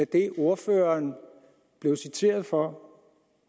det ordføreren blev citeret for